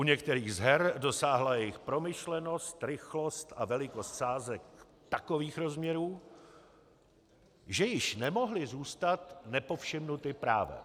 U některých z her dosáhla jejich promyšlenost, rychlost a velikost sázek takových rozměrů, že již nemohly zůstat nepovšimnuty právem.